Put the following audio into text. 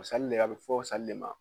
O de a bɛ fɔ de ma